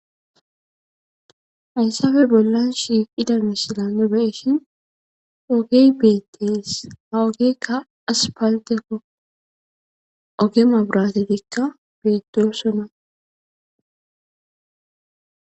Haysappe bollan nu shiqqida misile be'shshen ogge bettes ha oggezikka hasipalittekko ogge mabirattetikka bettossona